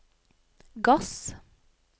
gass